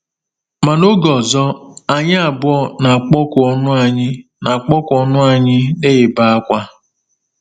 Ma n’oge ọzọ, anyị abụọ na-akpọku ọnụ anyị na-akpọku ọnụ anyị na -ebe akwa.